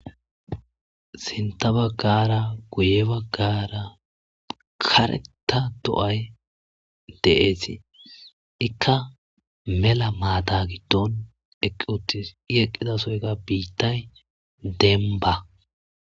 sinta baggara guye baggaara kareta do'ay de'ees ikka mela maata giddon eqqi uttis i eqqidasoyka biittay denba